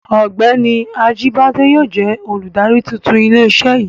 Ọ́gbẹ́ni Ajíbádé yóò jẹ olùdarí tuntun ilé iṣé yìí.